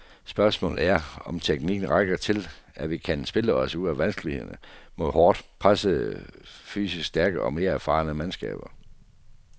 Spørgsmålet er, om teknikken rækker til, at vi kan spille os ud af vanskelighederne mod hårdt pressende fysisk stærke og mere erfarne mandskaber.